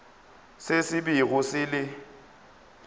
se se bego se le